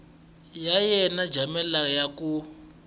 ya yena jamela ya ku